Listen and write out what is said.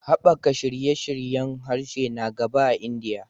Haɓaka shirye-shiryen harshe na gaba a Indiya